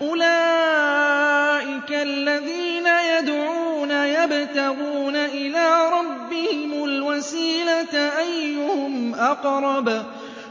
أُولَٰئِكَ الَّذِينَ يَدْعُونَ يَبْتَغُونَ إِلَىٰ رَبِّهِمُ الْوَسِيلَةَ أَيُّهُمْ أَقْرَبُ